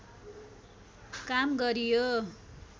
काम गरियो